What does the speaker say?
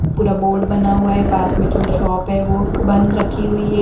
पुरा बोर्ड बना हुआ है पास में जो शॉप है वो बंध रखी हुई हैं।